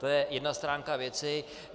To je jedna stránka věci.